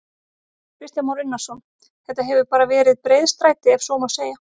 Kristján Már Unnarsson: Þetta hefur bara verið breiðstræti ef svo má segja?